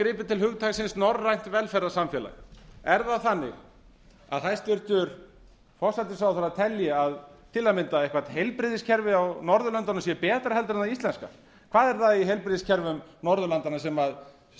gripið til hugtaksins norrænt velferðarsamfélag er það þannig að hæstvirtur forsætisráðherra telji að til að mynda eitthvert heilbrigðiskerfi á norðurlöndunum sé betra heldur en það íslenska hvað er það í heilbrigðiskerfum norðurlandanna sem